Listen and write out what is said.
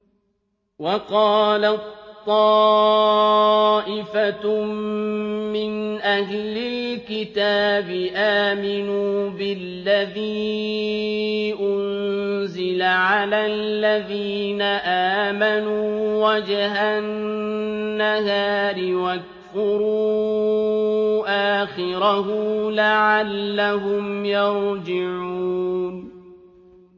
وَقَالَت طَّائِفَةٌ مِّنْ أَهْلِ الْكِتَابِ آمِنُوا بِالَّذِي أُنزِلَ عَلَى الَّذِينَ آمَنُوا وَجْهَ النَّهَارِ وَاكْفُرُوا آخِرَهُ لَعَلَّهُمْ يَرْجِعُونَ